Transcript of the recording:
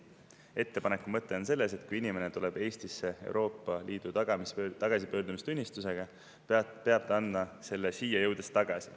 Ettepaneku mõte on selles, et kui inimene tuleb Eestisse Euroopa Liidu tagasipöördumistunnistusega, peab ta andma selle siia jõudes tagasi.